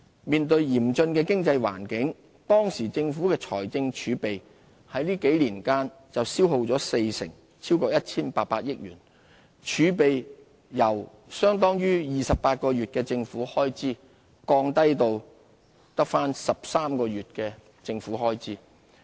面對嚴峻的經濟困境，當時政府財政儲備在這幾年間就消耗了四成，超過 1,800 億元，由相當於28個月的政府開支，降至13個月的政府開支。